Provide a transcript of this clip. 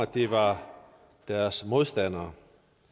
de var deres modstandere